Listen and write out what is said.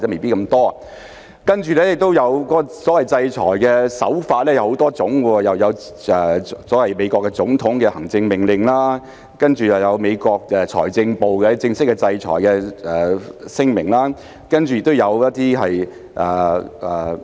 再者，所謂制裁的手法有很多種，例如所謂美國總統的行政命令，然後有美國財政部的正式制裁聲明，接着有國土安全部的一些聲明。